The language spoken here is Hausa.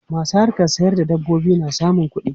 Masu harkan sayar da dabbobi na samun kuɗi.